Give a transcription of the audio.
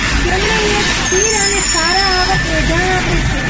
તેમણે એક સ્થિર અને સારા આવક એંધાણ આપે છે